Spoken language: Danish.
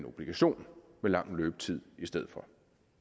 obligation med lang løbetid i stedet for